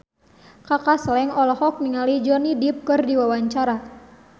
Kaka Slank olohok ningali Johnny Depp keur diwawancara